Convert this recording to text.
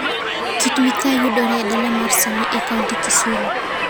Kit-Mikayi yudore e dala mar Seme e kaunti Kisumu.